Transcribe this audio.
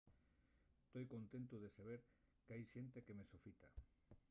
toi contentu de saber qu’hai xente que me sofita